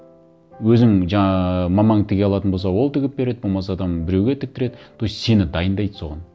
өзім мамаң тіге алатын болса ол тігіп береді болмаса там біреуге тіктіреді то есть сені дайындайды соған